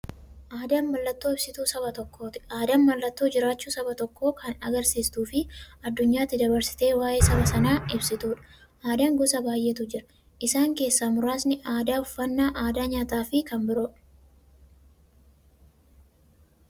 Aadaan mallattoo ibsituu saba tokkooti. Aadaan mallattoo jiraachuu saba tokkoo kan agarsiistufi addunyyaatti dabarsitee waa'ee saba sanaa ibsituudha. Aadaan gosa baay'eetu jira. Isaan keessaa muraasni aadaa, uffannaa aadaa nyaataafi kan biroo.